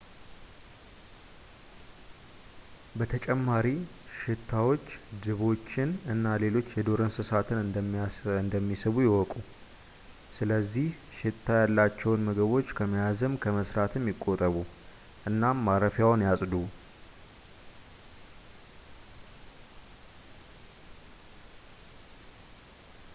በተጨማሪ ሽታዎች ድቦችን እና ሌሎች የዱር እንስሳትን እንደሚስቡ ይወቁ ስለዝህ ሽታ ያላቸውን ምግቦች ከመያዝም ከመስራትም ይቆጠቡ እናም ማረፊያዎን ያጽዱ